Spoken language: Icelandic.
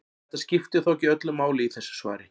Þetta skiptir þó ekki öllu máli í þessu svari.